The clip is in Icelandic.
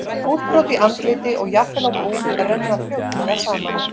Útbrot í andliti og jafnvel á búk renna fljótlega saman.